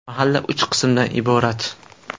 Mahalla uch qismdan iborat.